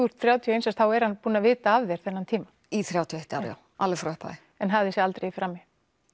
er þrjátíu og eins árs þá er hann búinn að vita af þér þennan tíma í þrjátíu og eitt ár alveg frá upphafi en hafði sig aldrei í frammi